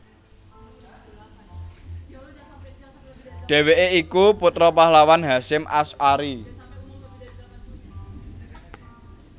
Dheweke iku putra pahlawan Hasyim Asy arie